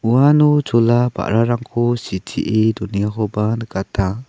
uano chola ba·rarangko sitee donengakoba nikata.